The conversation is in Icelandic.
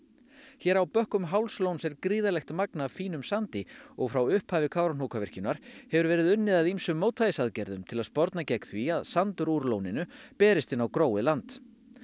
hér á bökkum Hálslóns er gríðarlegt magn af fínum sandi og frá upphafi Kárahnjúkavikjunar hefur verið unnið að ýmsum mótvægisaðgerðum til að sporna gegn því að sandur úr lóninu berist inn á gróið land